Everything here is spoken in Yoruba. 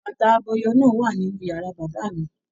Bàtà abọyọ̀ náà wà nínú yàrá bàbá mí.